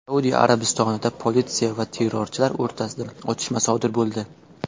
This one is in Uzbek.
Saudiya Arabistonida politsiya va terrorchilar o‘rtasida otishma sodir bo‘ldi.